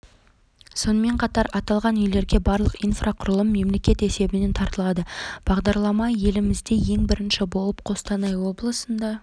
сонымен қатар аталған үйлерге барлық инфрақұрылым мемлекет есебінен тартылады бағдарлама елімізде ең бірінші болып қостанай облысында